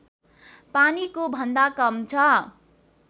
पानीको भन्दा कम छ